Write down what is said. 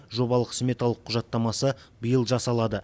жобалық сметалық құжаттамасы биыл жасалады